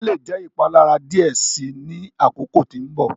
Ẹfọn le jẹ ipalara diẹ sii ni akoko ti nbọ.